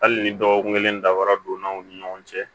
Hali ni dɔgɔkun kelen dafara donna aw ni ɲɔgɔn cɛ